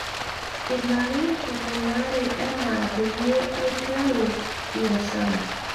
ilarin tomon tata enaa peyie aiteru biashara